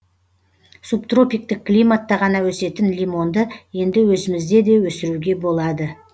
субтропиктік климатта ғана өсетін лимонды енді өзімізде де өсіруге болады